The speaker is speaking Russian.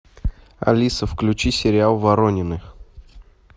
алиса включи сериал воронины